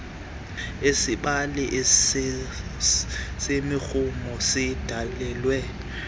isibali semirhumo sidalelwe